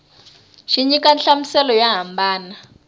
xi nyika nhlamuselo yo hambana